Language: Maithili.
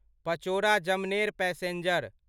पचोड़ा जमनेर पैसेंजर